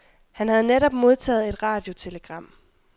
Han havde netop modtaget et radiotelegram.